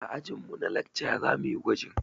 A ajin mu na lakca zamuyi gwajin